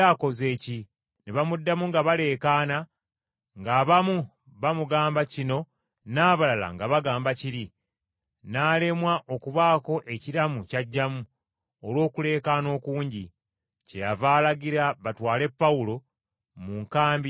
Ne bamuddamu nga baleekaana, ng’abamu bamugamba kino n’abalala nga bagamba kiri. N’alemwa okubaako ekiramu ky’aggyamu olw’okuleekaana okungi. Kyeyava alagira batwale Pawulo mu nkambi y’abaserikale.